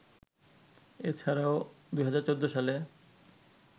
এ ছাড়াও ২০১৪ সালে